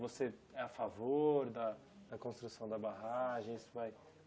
Você é a favor da da construção da barragem? Isso vai